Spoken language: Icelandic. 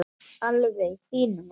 Alveg í þínum anda.